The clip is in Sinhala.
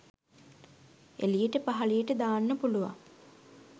එලියට පහලියට දාන්න පුලුවන්